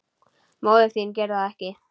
Móðir þín gerir það ekki.